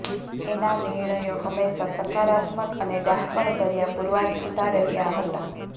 એના નિર્ણયો હંમેશાં સકારાત્મક અને ડહાપણભર્યા પુરવાર થતા રહ્યા હતા